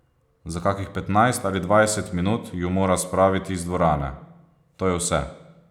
Za kakih petnajst ali dvajset minut ju mora spraviti iz dvorane, to je vse.